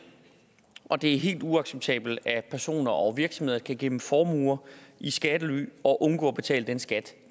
og det er helt uacceptabelt at personer og virksomheder kan gemme formuer i skattely og undgå at betale den skat